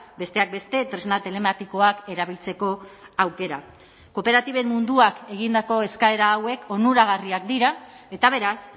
besteak beste tresna telematikoak erabiltzeko aukera kooperatiben munduak egindako eskaera hauek onuragarriak dira eta beraz